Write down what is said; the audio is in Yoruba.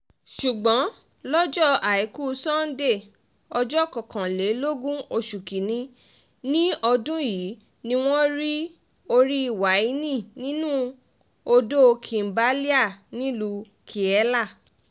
ṣùgbọ́n lọ́jọ́ àìkú sanńdé ọjọ́ kọkànlélógún oṣù kín-ín-ní ọdún yìí ni wọ́n rí orí wáènì nínú odò kimbelea nílùú kiele